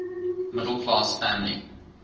middle class family